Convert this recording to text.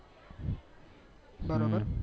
બરોબર